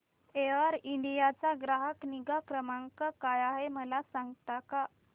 air India चा ग्राहक निगा क्रमांक काय आहे मला सांगता का